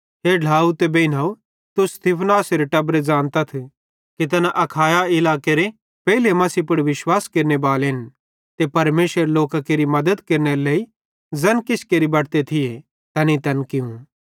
हे ढ्लाव ते बेइनव तुस स्तिफनासेरे टब्बरे ज़ानतथ कि तैना अखाया इलाकेरे पेइले मसीह पुड़ विश्वास केरनेबालेन ते परमेशरेरे लोकां केरि मद्दत केरनेरे लेइ ज़ैन किछ केरि बटते थिये तैनेईं तैन कियूं